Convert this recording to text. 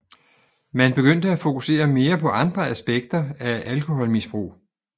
Man begyndte at fokusere mere på andre aspekter af alkoholmisbrug